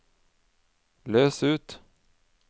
løs ut